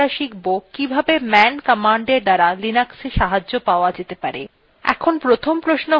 তারপর আমরা শিখব কিভাবে man commandএর দ্বারা linux সাহায্য পাওয়া যেতে পারে